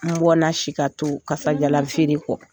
N bɔna si ka to kasajalan feere kɔ.